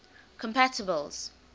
compatibles